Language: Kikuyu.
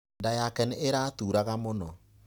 Nda yake nĩ ĩraturaga mũno.